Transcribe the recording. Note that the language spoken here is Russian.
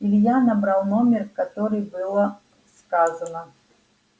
илья набрал номер который было сказано